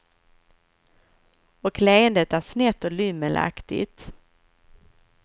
Och leendet är snett och lymmelaktigt.